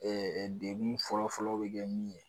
Ɛɛ dewi fɔlɔfɔlɔ be kɛ min ye